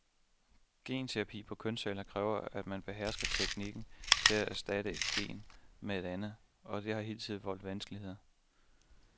Genterapi på kønsceller kræver, at man behersker teknikken til at erstatte et gen med et andet, og det har hidtil voldt vanskeligheder.